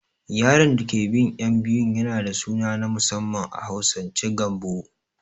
Yaron dake bin ƴan biyu yana da suna na musamman a Hausance Gambo